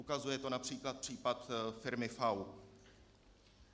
Ukazuje to například příklad firmy FAU.